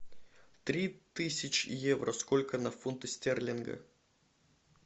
три тысячи евро сколько на фунты стерлинга